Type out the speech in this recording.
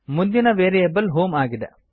ಮುಂದಿನ variable home ಆಗಿದೆ